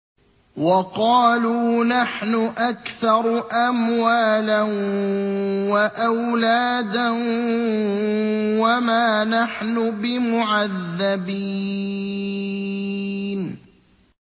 وَقَالُوا نَحْنُ أَكْثَرُ أَمْوَالًا وَأَوْلَادًا وَمَا نَحْنُ بِمُعَذَّبِينَ